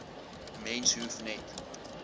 mens hoef net